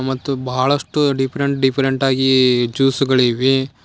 ಮತ್ತು ಬಹಳಷ್ಟು different different ಆಗಿ ಜ್ಯೂಸುಗಳಿವೆ.